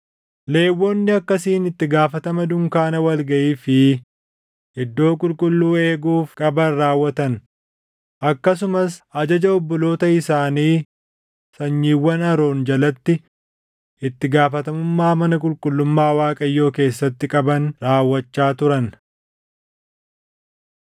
Lewwonni akkasiin itti gaafatama dunkaana wal gaʼii fi Iddoo Qulqulluu eeguuf qaban raawwatan; akkasumas ajaja obboloota isaanii sanyiiwwan Aroon jalatti itti gaafatamummaa mana qulqullummaa Waaqayyoo keessatti qaban raawwachaa turan.